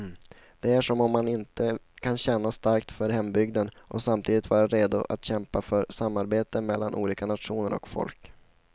Det är som om man inte kan känna starkt för hembygden och samtidigt vara redo att kämpa för samarbete mellan olika nationer och folk.